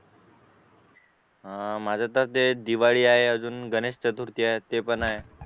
हा माझंत ते दिवाळी पण आहे अजून गणेश चतुर्थी आहे ते पण हाय